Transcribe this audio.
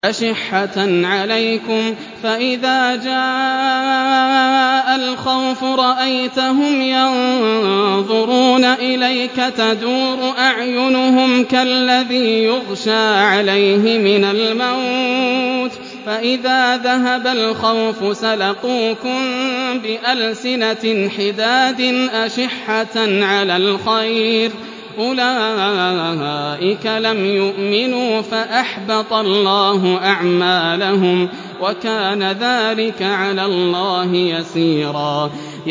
أَشِحَّةً عَلَيْكُمْ ۖ فَإِذَا جَاءَ الْخَوْفُ رَأَيْتَهُمْ يَنظُرُونَ إِلَيْكَ تَدُورُ أَعْيُنُهُمْ كَالَّذِي يُغْشَىٰ عَلَيْهِ مِنَ الْمَوْتِ ۖ فَإِذَا ذَهَبَ الْخَوْفُ سَلَقُوكُم بِأَلْسِنَةٍ حِدَادٍ أَشِحَّةً عَلَى الْخَيْرِ ۚ أُولَٰئِكَ لَمْ يُؤْمِنُوا فَأَحْبَطَ اللَّهُ أَعْمَالَهُمْ ۚ وَكَانَ ذَٰلِكَ عَلَى اللَّهِ يَسِيرًا